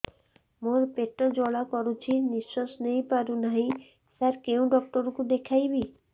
ମୋର ପେଟ ଜ୍ୱାଳା କରୁଛି ନିଶ୍ୱାସ ନେଇ ପାରୁନାହିଁ ସାର କେଉଁ ଡକ୍ଟର କୁ ଦେଖାଇବି